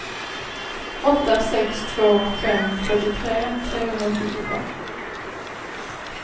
åtta sex två fem fyrtiotre trehundrasjuttiofem